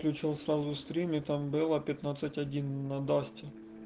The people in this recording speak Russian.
включил сразу стрим и там было пятнадцать один на дасте